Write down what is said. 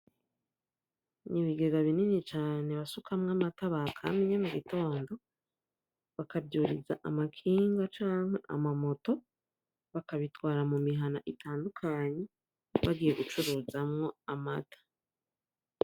Ibigega binini cane basukamwo amata bakamye m'ugitondo baka vyuriza amakinga canke amamoto bakabitwara m'umihana itandukanye bagiye gucuruzamwo amata.